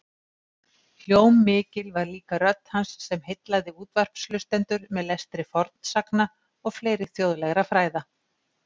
Hljómmikil var líka rödd hans sem heillaði útvarpshlustendur með lestri fornsagna og fleiri þjóðlegra fræða.